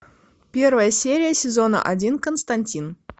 первая серия сезона один константин